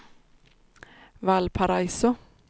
Valparaiso